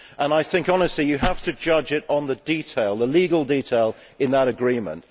I think honestly you have to judge it on the legal detail in that Agreement.